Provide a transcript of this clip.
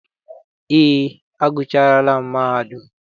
Eé, agụchaara m mahadum.